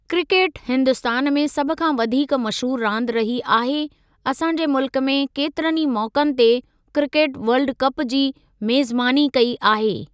Cricket Hindustan में सभ खां वधीक मशहूरु रांदि रही आहे, असां जे मुल्क केतिरनि ई मौक़नि ते क्रिकेट वर्ल्ड कप जी मेज़बानी कई आहे।